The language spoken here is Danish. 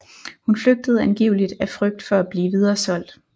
Hun flygtede angiveligt af frygt for at blive videresolgt